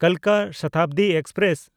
ᱠᱟᱞᱠᱟ Shatabdi express